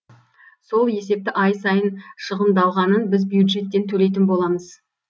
сол есепті ай сайын шығындалғанын біз бюджеттен төлейтін боламыз